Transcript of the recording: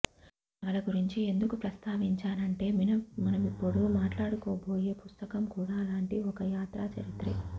ఈ నవల గురించి ఎందుకు ప్రస్తావించానంటే మనమిప్పుడు మాట్లాడుకోబోయే పుస్తకం కూడా అలాంటి ఒక యాత్రా చరిత్రే